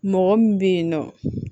Mɔgɔ min bɛ yen nɔ